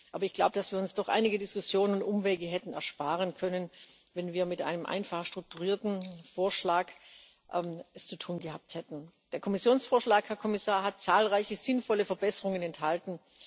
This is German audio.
Ich glaube aber, dass wir uns doch einige Diskussionen und Umwege hätten ersparen können, wenn wir es mit einem einfach strukturierten Vorschlag zu tun gehabt hätten. Der Kommissionsvorschlag, Herr Kommissar, hat zahlreiche sinnvolle Verbesserungen enthalten.